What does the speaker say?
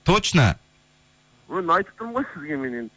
точно өй айтып тұрмын ғой сізге мен